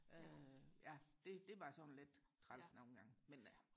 ja det det var sådan lidt træls nogen gange men øh